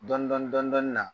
Dɔni dɔni dɔni dɔni na